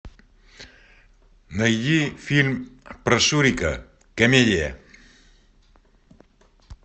найди фильм про шурика комедия